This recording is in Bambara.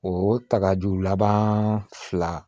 O takaju laban fila